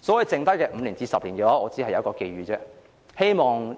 在剩下的5至10年，我只有一個寄語，希望